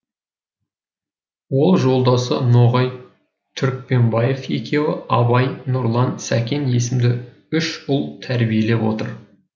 ол жолдасы ноғай түрікпенбаев екеуі абай нұрлан сәкен есімді үш ұл тәрбиелеп отыр